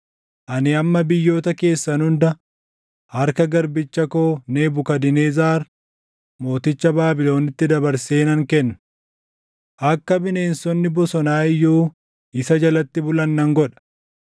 Ani amma biyyoota keessan hunda harka garbicha koo Nebukadnezar mooticha Baabiloniitti dabarsee nan kenna. Akka bineensonni bosonaa iyyuu isa jalatti bulan nan godha.